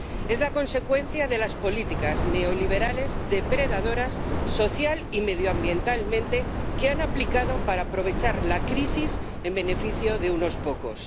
Es la consecuencia de las políticas neoliberales, depredadoras social y medioambientalmente, que han aplicado para aprovechar la crisis en beneficio de unos pocos.